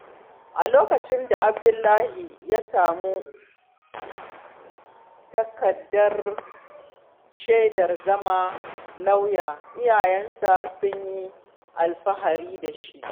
A lokacin da Abdullahi ya sami takardar shaidar zama lauya, iyayensa sun yi alfahari da shi.